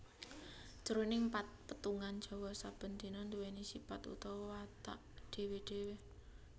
Jroning petungan Jawa saben dina nduwèni sipat utawa watek dhéwé dhéwé